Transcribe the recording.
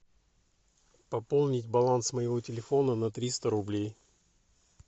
пополнить баланс моего телефона на триста рублей